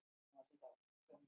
Við hefðum betur skammast okkar.